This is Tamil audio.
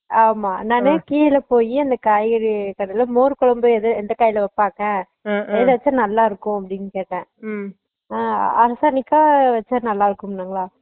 ஆமா நானு கிழ போய் அந்த காய்கறி கடைல மோர் கொழம்பு எது எந்த காய் ல வெச்ச நல்ல இருக்கும் அப்புடின்னு கேட்டான் Noise அஹ் அரசாணிக்கா வெச்ச நல்ல இருக்கும்னாங்களா